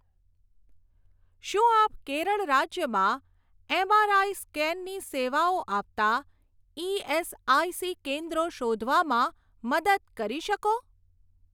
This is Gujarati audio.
શું આપ કેરળ રાજ્યમાં એમઆરઆઈ સ્કેનની સેવાઓ આપતાં ઇએસઆઇસી કેન્દ્રો શોધવામાં મદદ કરી શકો?